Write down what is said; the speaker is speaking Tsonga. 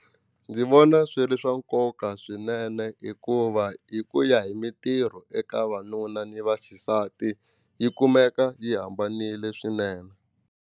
Ndzi vona swi ri swa nkoka swinene hikuva hi ku ya hi mitirho eka vanuna ni vaxisati yi kumeka yi hambanile swinene.